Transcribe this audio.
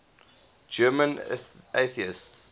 german atheists